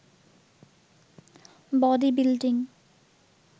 body building